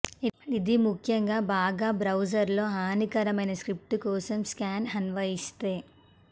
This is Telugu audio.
ఇది ముఖ్యంగా బాగా బ్రౌజర్లో హానికరమైన స్క్రిప్ట్స్ కోసం స్కాన్ అన్వయిస్తే